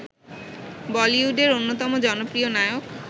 বলিউডের অন্যতম জনপ্রিয় নায়ক